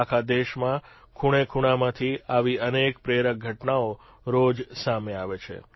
આખા દેશમાં ખૂણેખૂણામાંથી આવી અનેક પ્રેરક ઘટનાઓ રોજ સામે આવે છે